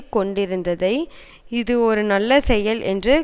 கொண்டுத்திருந்ததை இது ஒரு நல்ல செயல் என்று